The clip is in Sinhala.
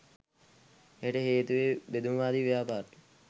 එයට හේතුව බෙදුම්වාදී ව්‍යාපාරය